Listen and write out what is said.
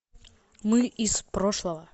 мы из прошлого